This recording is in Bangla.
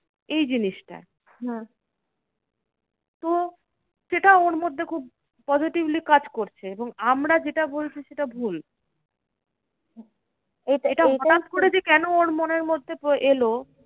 এই জিনিসটা তো সেটা ওর মধ্যে খুব positively কাজ করছে এবং আমরা যেটা বলছি সেটা ভুল। এটা হটাৎ করে যে কেন ওর মনের মধ্যে এলো?